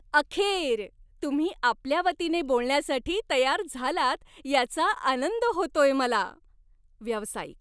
अखेर! तुम्ही आपल्या वतीने बोलण्यासाठी तयार झालात याचा आनंद होतोय मला. व्यावसायिक